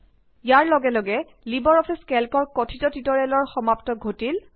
ইয়াৰ লগে লগে LibreOffice কেল্কৰ কথিত টিউটৰিয়েলৰ সমাপ্তি ঘটিল